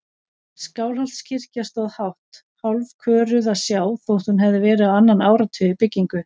Skálholtskirkja stóð hátt, hálfköruð að sjá þótt hún hefði verið á annan áratug í byggingu.